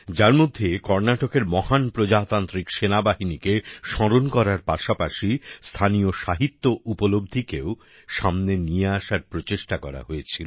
যার মধ্যে কর্নাটকের মহান প্রজাতান্ত্রিক সেনাবাহিনীকে স্মরণ করার পাশাপাশি স্থানীয় সাহিত্যি উপলব্ধিকেও সামনে নিয়ে আসার প্রচেষ্টা করা হয়েছিল